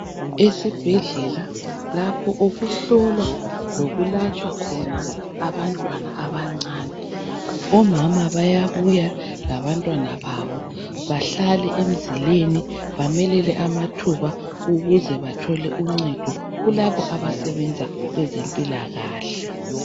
Esibhedlela lapho okuhlolwa lokulatshwa khona abantwana abancane omama bayabuya labantwana babo bahlale emzileni bamelele amathuba ukuze bathole uncedo kulabo abasebenza kweze mpilakahle